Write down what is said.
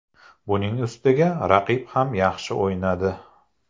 Buning ustiga raqib ham yaxshi o‘ynadi.